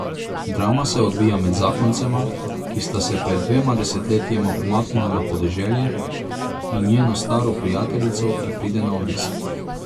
Drama se odvija med zakoncema, ki sta se pred dvema desetletjema umaknila na podeželje, in njeno staro prijateljico, ki pride na obisk.